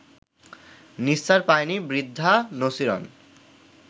নিস্তার পায়নি বৃদ্ধা নছিরন